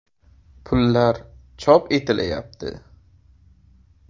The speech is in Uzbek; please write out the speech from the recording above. Pullar chop etilayapti.